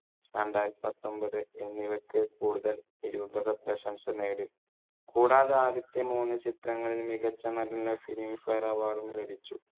രണ്ടായിരത്തി പത്തൊമ്പതു എന്നിവക്ക് കൂടുതൽ നിരൂപക പ്രശംസ നേടി. കൂടാതെ ആദ്യത്തെ മൂന്നു ചിത്രങ്ങളിൽ മികച്ച നടനുള്ള filmfare award ഉം ലഭിച്ചു.